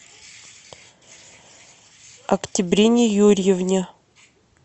октябрине юрьевне